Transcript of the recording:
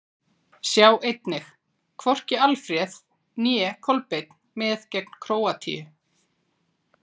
Sjá einnig: Hvorki Alfreð né Kolbeinn með gegn Króatíu?